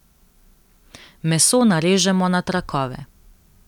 Meso narežemo na trakove.